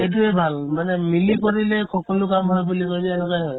এইটোয়ে ভাল মানে মিলি কৰিলে সকলো কাম হয় বুলি কই যে এনেকুৱাই হয়